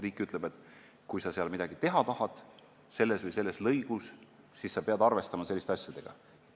Riik ütleb, et kui sa tahad midagi teha selles või selles lõigus, siis sa pead arvestama selliste asjadega.